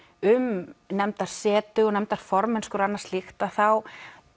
um nefndarsetu og nefndarformennsku og annað slíkt að þá